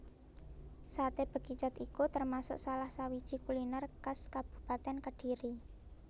Saté Bekicot iku termasuk salah sawiji kuliner khas Kabupatèn Kediri